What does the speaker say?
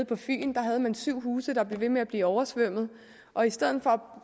på fyn var syv huse der blev ved med at blive oversvømmet og i stedet for